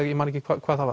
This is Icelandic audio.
hvað það